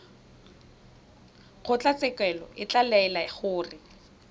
kgotlatshekelo e ka laela gore